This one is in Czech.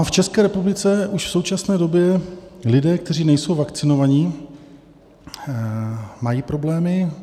A v České republice už v současné době lidé, kteří nejsou vakcinovaní, mají problémy.